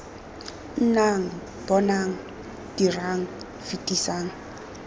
c nnang bonang dirang fetisang